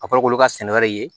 A fɔra k'olu ka sɛnɛ wɛrɛ de ye